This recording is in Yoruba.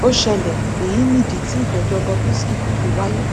ó ṣẹlẹ èyí nìdí tí ìgbẹjọ bob risky kò fi wáyé